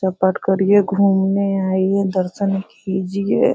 पूजा पाठ करिये घूमने आईये दर्शन कीजिए।